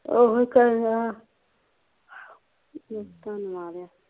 ਉਹੋ ਤੇ ਆ ਧਨਵਾਦ ਆ